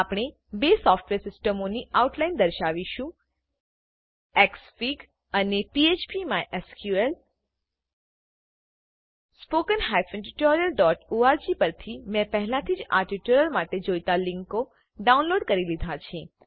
આપણે બે સોફ્ટવેર સિસ્ટમોની આઉટલાઈન દર્શાવીશું એક્સફિગ અને phpમાયસ્કલ httpspoken tutorialorg પરથી મેં પહેલાથી જ આ ટ્યુટોરીયલ માટે જોઈતા લીંકો ડાઉનલોડ કરી લીધા છે